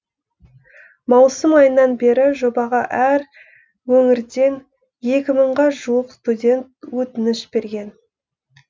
маусым айынан бері жобаға әр өңірден екі мыңға жуық студент өтініш берген